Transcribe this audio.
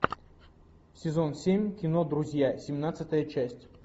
сезон семь кино друзья семнадцатая часть